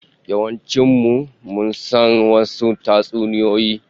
Yawancin mu mun san wasu tatsuniyoyi